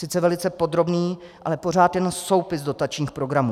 Sice velice podrobný, ale pořád jenom soupis dotačních programů.